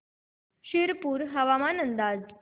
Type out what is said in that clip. शिरपूर हवामान अंदाज